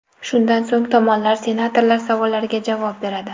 Shundan so‘ng tomonlar senatorlar savollariga javob beradi.